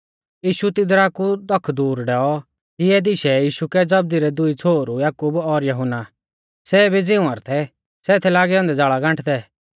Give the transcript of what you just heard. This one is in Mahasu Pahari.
यीशु तिदरा कु दख दूर डैऔ तिऐ दिशै यीशु कै जबदी रै दुई छ़ोहरु याकूब और यहुन्ना सै भी झ़ींवर थै सै थै लागै औन्दै ज़ाल़ा गांठदै